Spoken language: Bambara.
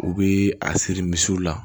U bi a siri misiw la